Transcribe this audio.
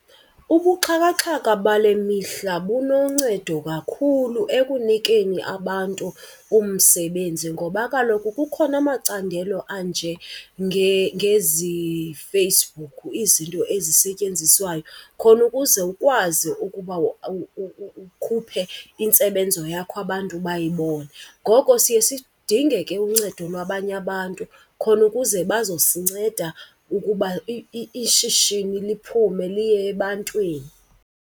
Ubuxhakaxhaka bale mihla bunoncedo kakhulu ekunikeni abantu umsebenzi ngoba kaloku kukhona amacandelo ngezi Facebook, izinto ezisetyenziswayo khona ukuze ukwazi ukuba ukhuphe intsebenzo yakho abantu bayibone. Ngoko siye sidinge ke uncedo lwabanye abantu khona ukuze bazosinceda ukuba ishishini liphume liye ebantwini.